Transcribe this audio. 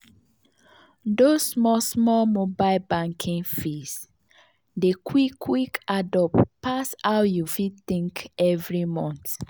those small small mobile banking fees dey quick quick add up pass how you fit think every month.